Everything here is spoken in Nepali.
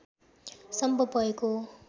सम्भव भएको हो